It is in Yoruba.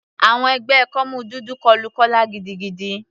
Àwọn ẹgbẹ́ kọ́mú dúdú kọlu Kọla gidigidi.